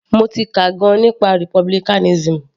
Mo ti kà gan - an nípa republicanism.